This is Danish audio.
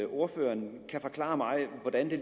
ordføreren kan forklare mig hvordan det